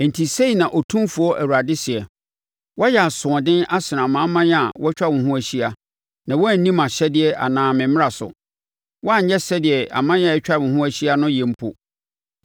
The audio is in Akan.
“Enti sei na Otumfoɔ Awurade seɛ: Woayɛ asoɔden asene amanaman a wɔatwa wo ho ahyia na woanni mʼahyɛdeɛ anaa me mmara so. Woanyɛ sɛdeɛ aman a atwa wo ho ahyia no yɛ mpo.